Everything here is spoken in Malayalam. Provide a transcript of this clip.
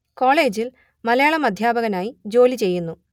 കോളേജിൽ മലയാളം അദ്ധ്യാപകനായി ജോലി ചെയ്യുന്നു